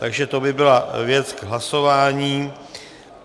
Takže to by byla věc k hlasování.